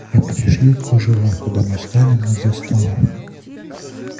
я пришью кружева когда мы встанем из-за стола